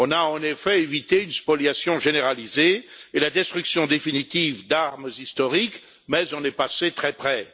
En effet, on a évité une spoliation généralisée et la destruction définitive d'armes historiques mais on est passé très près.